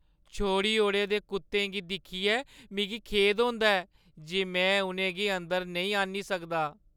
छोड़ी ओड़े दे कुत्तें गी दिक्खियै मिगी खेद होंदा ऐ जे में उʼनें गी अंदर नेईं आह्‌न्नी सकदा।